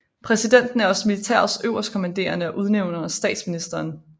Præsidenten er også militærets øverstkommanderende og udnævner statsministeren